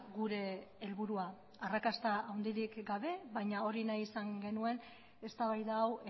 gure helburua arrakasta handirik gabe baina hori izan genuen eztabaida hau